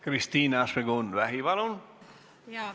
Kristina Šmigun-Vähi, palun!